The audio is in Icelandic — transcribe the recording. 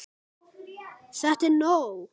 ÞETTA ER NÓG!